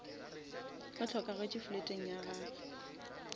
o hlokagetše fleteng ya gage